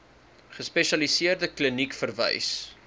gespesialiseerde kliniek verwys